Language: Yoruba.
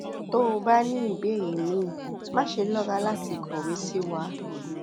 tó o bá ní ìbéèrè míì máṣe lọra láti kọwé sí wa